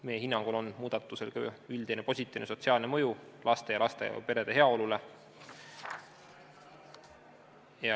Meie hinnangul on muudatusel ka üldine positiivne sotsiaalne mõju laste ja lastega perede heaolule.